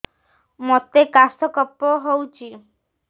ମୋତେ କାଶ କଫ ହଉଚି